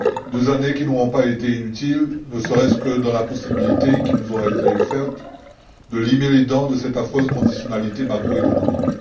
Deux années qui n'auront pas été inutiles, ne serait ce que dans la possibilité qui nous a été offerte de limer les dents de cette affreuse conditionnalité macroéconomique.